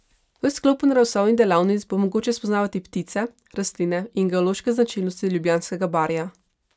V sklopu naravoslovnih delavnic bo mogoče spoznavati ptice, rastline in geološke značilnosti Ljubljanskega barja.